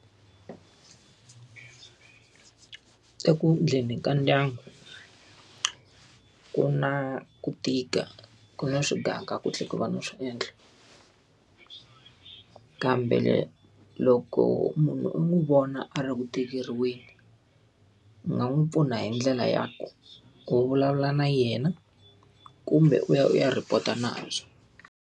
Eku endleni ka ndyangu, ku na ku tika, ku na swiganga ku tlhela ku va na swiendlo kambe loko munhu u n'wi vona a ri eku tikeriweni. u nga n'wi pfuna hi ndlela ya ku, ku vulavula na yena kumbe u ya u ya report-a nandzu.